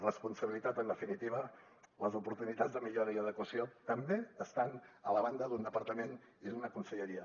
responsabilitat en definitiva les oportunitats de millora i adequació també estan a la banda d’un departament i d’una conselleria